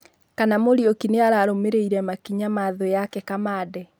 Kana Muriuki nĩararũmĩrĩire makinya ma 'thu' yake Kamande